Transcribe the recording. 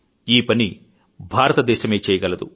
ఈపని భారతదేశమే చేయగలదు